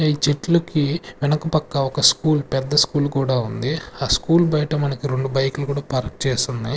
ఈ చెట్లుకి వెనక పక్క ఒక స్కూల్ పెద్ద స్కూల్ కూడా ఉంది ఆ స్కూల్ బయట మనకి రెండు బైకు లు కూడా పార్క్ చేసి ఉన్నాయి.